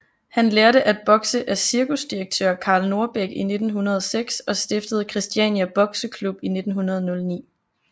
Han lærte at bokse af cirkusdirektør Karl Norbeck i 1906 og stiftede Kristiania Boxeklub i 1909